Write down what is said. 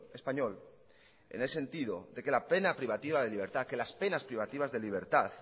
español en el sentido de que la pena privativa de libertad las penas privativas de libertad